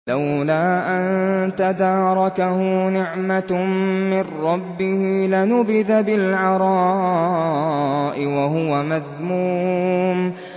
لَّوْلَا أَن تَدَارَكَهُ نِعْمَةٌ مِّن رَّبِّهِ لَنُبِذَ بِالْعَرَاءِ وَهُوَ مَذْمُومٌ